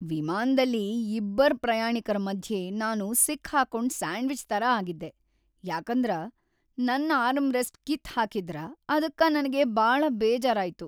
ವಿಮಾನದಲ್ಲಿ ಇಬ್ಬರ್ ಪ್ರಯಾಣಿಕರ ಮಧ್ಯೆ ನಾನು ಸಿಕ್ ಹಾಕೊಂಡ್ ಸ್ಯಾಂಡ್ವಿಚ್ ತರ ಆಗಿದ್ದೆ ಯಾಕಂದರ ನನ್ನ ಆರ್ಮರೆಸ್ಟ್ ಕಿತ್ ಹಾಕಿದ್ದರ ಅದಕ್ಕ ನನಗೆ ಬಾಳ ಬೇಜಾರಾಯ್ತು.